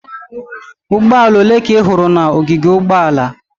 Ụgbọala ole ka ị hụrụ n'ogige ụgbọala?